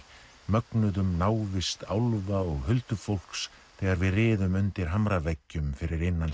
mögnuðum návist álfa og huldufólks þegar við riðum undir hamraveggjum fyrir innan